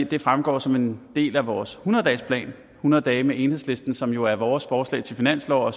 det fremgår som en del af vores hundrede dagesplan hundrede dage med enhedslisten som jo er vores forslag til finanslov